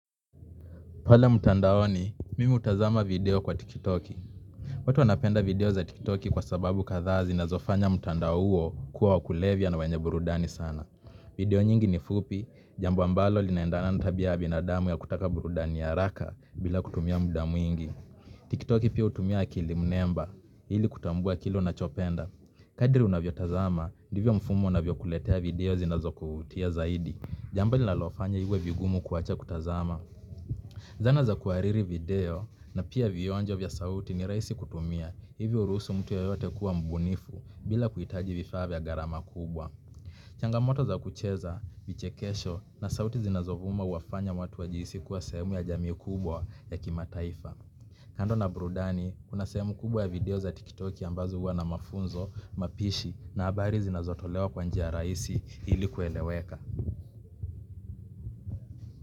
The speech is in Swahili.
Pale mtandaoni, mimi hutazama video kwa Tikitoki. Watu wanapenda video za Tikitoki kwa sababu kadhaa zinazofanya mtandao huo kuwa wa kulevya na wenye burudani sana. Video nyingi ni fupi, jambo ambalo linaendana na tabia ya binadamu ya kutaka burudani ya haraka bila kutumia muda mwingi. Tikitoki pia hutumia akilimnemba, ili kutambua kile unchopenda. Kadiri unavyotazama, ndivyo mfumo unavyokuletea video zinazokuvutia zaidi. Jambo linalofanya iwe vigumu kuacha kutazama. Zana za kuhariri video na pia vionjo vya sauti ni rahisi kutumia. Hivi hurusu mtu yeyote kuwa mbunifu, bila kuhitaji vifaa ya gharama kubwa. Changamoto za kucheza, vichekesho na sauti zinazovuma huwafanya watu wajihisi kuwa sehemu ya jamii kubwa ya kimataifa. Kando na burudani, kuna sehemu kubwa ya video za tiktoki ambazo huwa na mafunzo, mapishi na habari zinazotolewa kwa njia rahisi ili kueleweka.